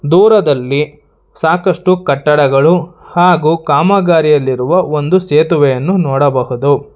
ದೂರದಲ್ಲಿ ಸಾಕಷ್ಟು ಕಟ್ಟಡಗಳು ಹಾಗು ಕಾಮಗಾರಿಯಲ್ಲಿರುವ ಒಂದು ಸೇತುವೆಯನ್ನು ನೋಡಬಹುದು.